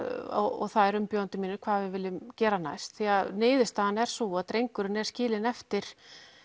umbjóðendur mínir vilja gera niðurstaðan er sú að drengurinn er skilinn eftir